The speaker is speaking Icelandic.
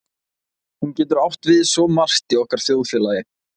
Hún getur átt við svo margt í okkar þjóðfélagi.